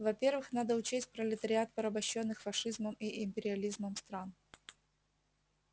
во первых надо учесть пролетариат порабощённых фашизмом и империализмом стран